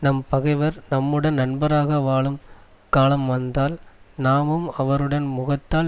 நம் பகைவர் நம்முடன் நண்பராக வாழும் காலம் வந்தால் நாமும் அவருடன் முகத்தால்